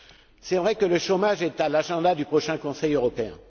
Il est vrai que le chômage est à l'agenda du prochain Conseil européen.